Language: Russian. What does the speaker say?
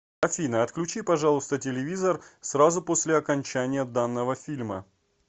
афина отключи пожалуйста телевизор сразу после окончания данного фильма